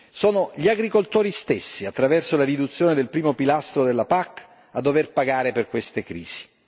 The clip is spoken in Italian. Sono gli agricoltori stessi, attraverso la riduzione del I pilastro della PAC a dover pagare per queste crisi.